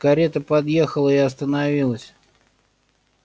карета подъехала и остановилась